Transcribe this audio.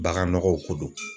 Bagannɔgɔw ko don